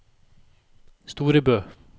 Storebø